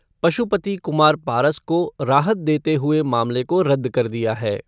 पशुपति कुमार पारस को राहत देते हुए मामले को रद्द कर दिया है।